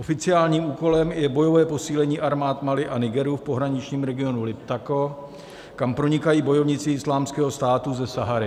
Oficiálním úkolem je bojové posílení armád Mali a Nigeru v pohraničním regionu Liptako, kam pronikají bojovníci Islámského státu ze Sahary.